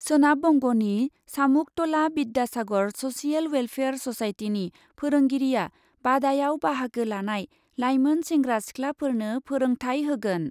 सोनाब बंगनि सामुकतला बिद्यासागर स'सियेल वेलफेयार स'साइटिनि फोरोंगिरिआ बादायाव बाहागो लानाय लाइमोन सेंग्रा सिखलाफोरनो फोरोंथाय होगोन ।